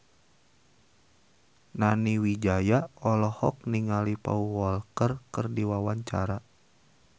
Nani Wijaya olohok ningali Paul Walker keur diwawancara